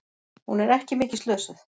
Hún er ekki mikið slösuð.